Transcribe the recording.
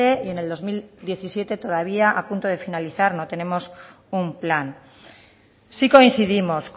y en el dos mil diecisiete todavía a punto de finalizar no tenemos un plan sí coincidimos